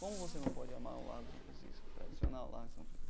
Como você não pode amar o Largo de São Francisco, tradicional Largo de São Francisco?